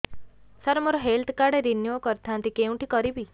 ସାର ମୋର health card renew କରିଥାନ୍ତି କେଉଁଠି କରିବି